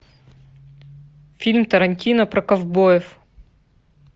фильм тарантино про ковбоев